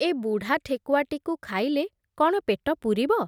ଏ ବୁଢ଼ା ଠେକୁଆଟିକୁ ଖାଇଲେ କ’ଣ ପେଟ ପୂରିବ ।